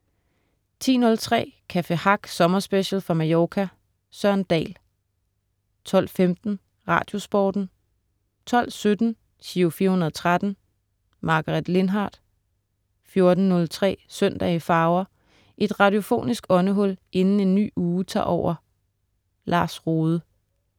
10.03 Café Hack sommerspecial fra Mallorca. Søren Dahl 12.15 Radiosporten 12.17 Giro 413. Margaret Lindhardt 14.03 Søndag i farver. Et radiofonisk åndehul inden en ny uge tager over. Lars Rohde